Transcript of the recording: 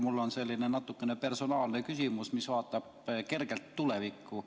Mul on selline natuke personaalne küsimus, mis vaatab kergelt tulevikku.